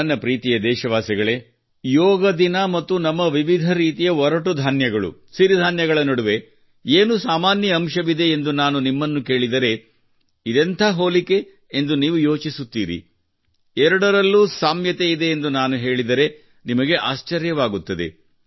ನನ್ನ ಪ್ರೀತಿಯ ದೇಶವಾಸಿಗಳೇ ಯೋಗ ದಿನ ಮತ್ತು ನಮ್ಮ ವಿವಿಧ ರೀತಿಯ ಗಟ್ಟಿ ಧಾನ್ಯಗಳು ಸಿರಿ ಧಾನ್ಯಗಳ ನಡುವೆ ಏನು ಸಾಮಾನ್ಯ ಅಂಶವಿದೆ ಎಂದು ನಾನು ನಿಮ್ಮನ್ನು ಕೇಳಿದರೆ ಇದೆಂಥ ಹೋಲಿಕೆ ಎಂದು ನೀವು ಯೋಚಿಸುತ್ತೀರಿ ಎರಡರಲ್ಲೂ ಸಾಮ್ಯತೆ ಇದೆ ಎಂದು ನಾನು ಹೇಳಿದರೆ ನಿಮಗೆ ಆಶ್ಚರ್ಯವಾಗುತ್ತದೆ